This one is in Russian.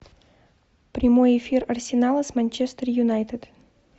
прямой эфир арсенала с манчестер юнайтед